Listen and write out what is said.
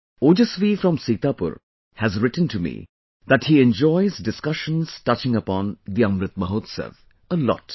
Ojaswi from Sitapur has written to me that he enjoys discussions touching upon the Amrit Mahotsav, a lot